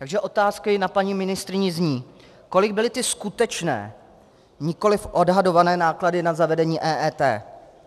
Takže otázky na paní ministryni zní: Kolik byly ty skutečné, nikoliv odhadované náklady na zavedení EET?